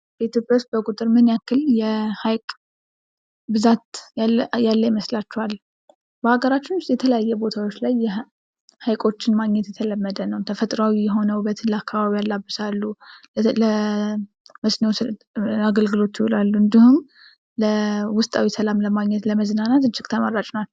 በኢትዮጵያ ውስጥ በቁጥር ምን ያክል የሀይቅ ብዛት ያለ ይመስላችኋል? በሀገራችን ውስጥ የተለያየ ቦታዎች ላይ ሐይቆችን ማግኘት የተለመደ ነው። ተፈጥሮአዊ የሆነ ውበትን ለአካባቢ ያላብሳሉ። ለ፣ እስኖ አገልግሎት ይውላሉ። እንዲሁም ለ ውስጣዊ ሰላም ለማግኘት ለመዝናናት እጅግ ተመራጭ ነው።